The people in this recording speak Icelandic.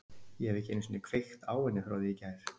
Ég hef ekki einu sinni kveikt á henni frá því í gær.